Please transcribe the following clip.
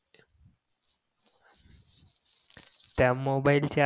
त्या मोबाईलच्या